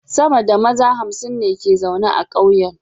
Sama da maza hamsin ne ke zaune a kauyen